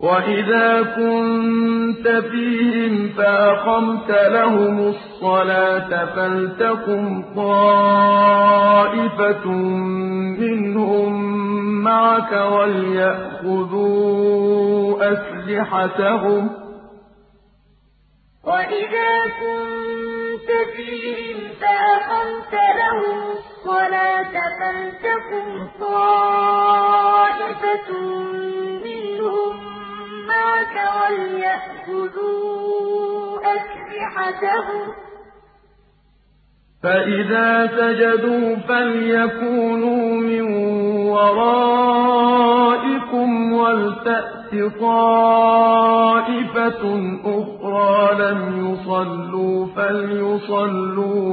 وَإِذَا كُنتَ فِيهِمْ فَأَقَمْتَ لَهُمُ الصَّلَاةَ فَلْتَقُمْ طَائِفَةٌ مِّنْهُم مَّعَكَ وَلْيَأْخُذُوا أَسْلِحَتَهُمْ فَإِذَا سَجَدُوا فَلْيَكُونُوا مِن وَرَائِكُمْ وَلْتَأْتِ طَائِفَةٌ أُخْرَىٰ لَمْ يُصَلُّوا فَلْيُصَلُّوا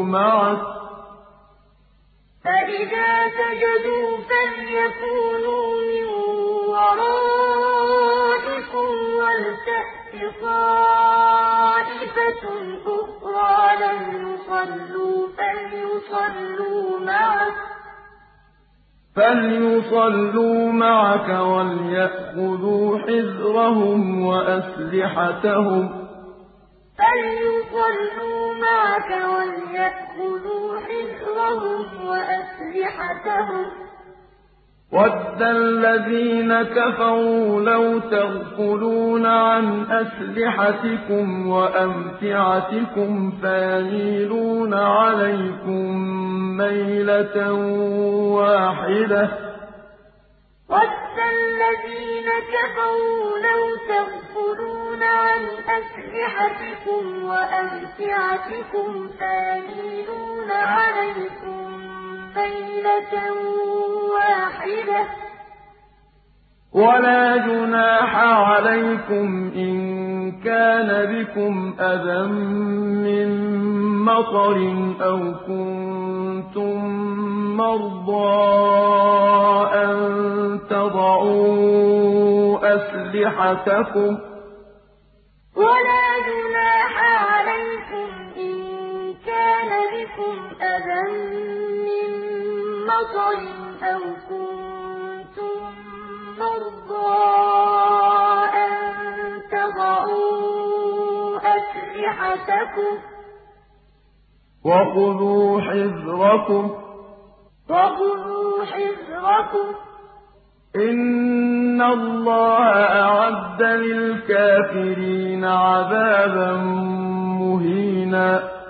مَعَكَ وَلْيَأْخُذُوا حِذْرَهُمْ وَأَسْلِحَتَهُمْ ۗ وَدَّ الَّذِينَ كَفَرُوا لَوْ تَغْفُلُونَ عَنْ أَسْلِحَتِكُمْ وَأَمْتِعَتِكُمْ فَيَمِيلُونَ عَلَيْكُم مَّيْلَةً وَاحِدَةً ۚ وَلَا جُنَاحَ عَلَيْكُمْ إِن كَانَ بِكُمْ أَذًى مِّن مَّطَرٍ أَوْ كُنتُم مَّرْضَىٰ أَن تَضَعُوا أَسْلِحَتَكُمْ ۖ وَخُذُوا حِذْرَكُمْ ۗ إِنَّ اللَّهَ أَعَدَّ لِلْكَافِرِينَ عَذَابًا مُّهِينًا وَإِذَا كُنتَ فِيهِمْ فَأَقَمْتَ لَهُمُ الصَّلَاةَ فَلْتَقُمْ طَائِفَةٌ مِّنْهُم مَّعَكَ وَلْيَأْخُذُوا أَسْلِحَتَهُمْ فَإِذَا سَجَدُوا فَلْيَكُونُوا مِن وَرَائِكُمْ وَلْتَأْتِ طَائِفَةٌ أُخْرَىٰ لَمْ يُصَلُّوا فَلْيُصَلُّوا مَعَكَ وَلْيَأْخُذُوا حِذْرَهُمْ وَأَسْلِحَتَهُمْ ۗ وَدَّ الَّذِينَ كَفَرُوا لَوْ تَغْفُلُونَ عَنْ أَسْلِحَتِكُمْ وَأَمْتِعَتِكُمْ فَيَمِيلُونَ عَلَيْكُم مَّيْلَةً وَاحِدَةً ۚ وَلَا جُنَاحَ عَلَيْكُمْ إِن كَانَ بِكُمْ أَذًى مِّن مَّطَرٍ أَوْ كُنتُم مَّرْضَىٰ أَن تَضَعُوا أَسْلِحَتَكُمْ ۖ وَخُذُوا حِذْرَكُمْ ۗ إِنَّ اللَّهَ أَعَدَّ لِلْكَافِرِينَ عَذَابًا مُّهِينًا